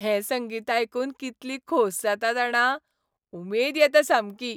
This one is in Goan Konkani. हें संगीत आयकून कितली खोस जाता जाणा. उमेद येता सामकी.